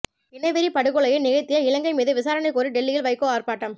இனவெறிப் படுகொலையை நிகழ்த்திய இலங்கை மீது விசாரணை கோரி டெல்லியில் வைகோ ஆர்ப்பாட்டம்